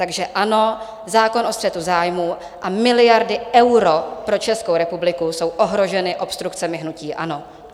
Takže ano, zákon o střetu zájmů a miliardy eur pro Českou republiku jsou ohroženy obstrukcemi hnutí ANO.